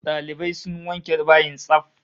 Dalibai sun wanke bayin tsaf